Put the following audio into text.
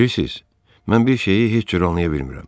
Bilirsiz, mən bir şeyi heç cür anlaya bilmirəm.